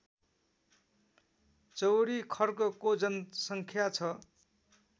चौरीखर्कको जनसङ्ख्या छ